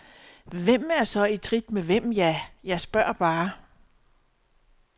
Hvem er så i trit med hvem, ja, jeg spørger bare?